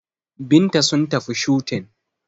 Binta sun tafi shooting